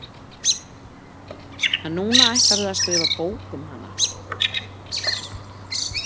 En núna ætlarðu að skrifa bók um hana?